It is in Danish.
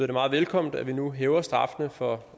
det meget velkommen at vi nu hæver straffene for